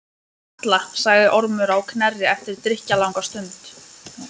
Varla, sagði Ormur á Knerri eftir drykklanga stund.